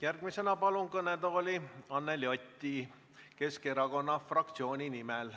Järgmisena palun kõnetooli Anneli Oti Keskerakonna fraktsiooni nimel.